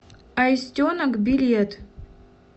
аистенок билет